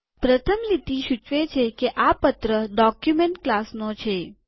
પ્રથમ લીટી સૂચવે છે કે આ પત્ર ડોક્યુમેન્ટ ક્લાસનો છે